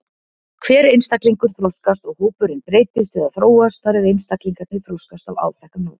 Hver einstaklingur þroskast og hópurinn breytist eða þróast þar eð einstaklingarnir þroskast á áþekkan hátt.